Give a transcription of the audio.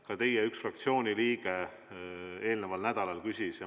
Ka üks teie fraktsiooni liige eelmisel nädalal küsis selle kohta.